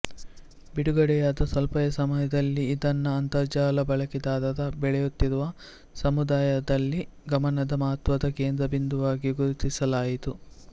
ಬಿಡುಗಡೆಯಾದ ಸ್ವಲ್ಪವೇ ಸಮಯದಲ್ಲಿ ಇದನ್ನು ಅಂತರಜಾಲ ಬಳಕೆದಾರರ ಬೆಳೆಯುತ್ತಿರುವ ಸಮುದಾಯದಲ್ಲಿ ಗಮನದ ಮಹತ್ವದ ಕೇಂದ್ರಬಿಂದುವಾಗಿ ಗುರುತಿಸಲಾಯಿತು